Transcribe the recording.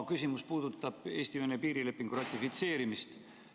Küsimus puudutab Eesti-Vene piirilepingu ratifitseerimist.